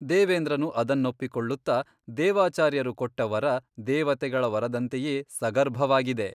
ದೇವೇಂದ್ರನು ಅದನ್ನೊಪ್ಪಿಕೊಳ್ಳುತ್ತ ದೇವಾಚಾರ್ಯರು ಕೊಟ್ಟ ವರ ದೇವತೆಗಳ ವರದಂತೆಯೇ ಸಗರ್ಭವಾಗಿದೆ.